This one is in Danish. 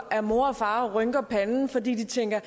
at mor og far rynker panden fordi de tænker